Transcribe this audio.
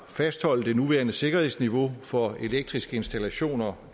at fastholde det nuværende sikkerhedsniveau for elektriske installationer